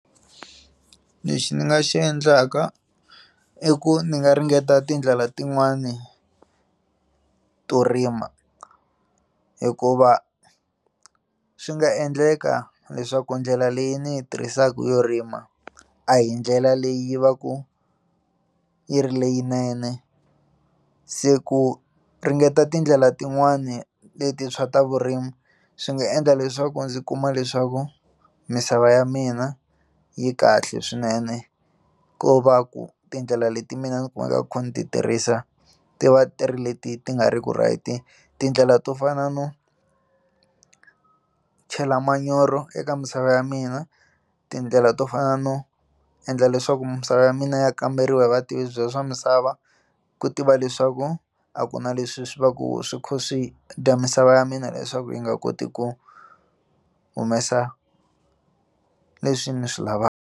Lexi ndzi nga xi endlaka i ku ndzi nga ringeta tindlela tin'wani to rima hikuva swi nga endleka leswaku ndlela leyi ndzi yi tirhisaka yo rima a hi ndlela leyi va ku yi ri leyinene se ku ringeta tindlela tin'wani leti swa ta vurimi swi nga endla leswaku ndzi kuma leswaku misava ya mina yi kahle swinene ko va ku tindlela leti mina ndzi kumaka ndzi kha ndzi ti tirhisa ti va ti ri leti ti nga ri ku right tindlela to fana no chela manyoro eka misava ya mina tindlela to fana no endla leswaku misava ya mina ya kamberiwa hi vativi byela swa misava ku tiva leswaku a ku na leswi swi va ku swi kho swi dya misava ya mina leswaku yi nga koti ku humesa leswi ndzi swi lavaka.